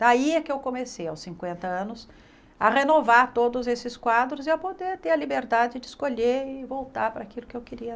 Daí é que eu comecei, aos cinquenta anos, a renovar todos esses quadros e a poder ter a liberdade de escolher e voltar para aquilo que eu queria.